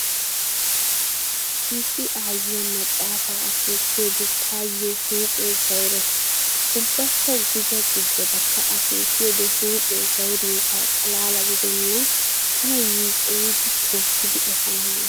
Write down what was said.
His aayiyaa maxaafa akeekiyoode taayyo huuphee zawurees. Ubbakka gujja gujjadakka akeekiyoode huuphee zawuriyoogaa xalaala gidennan tana yiicoyidi tookkidi efaana hanees.